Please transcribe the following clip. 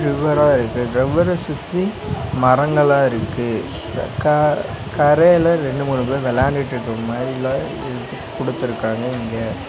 ரிவர்ரா இருக்கு ரிவர்ர சுத்தி மரங்களா இருக்கு க கரையில ரெண்டு மூணு பேர் விளையாண்டுட்டு இருக்க மாரியெல்லா குடுத்துருக்காங்க இங்க.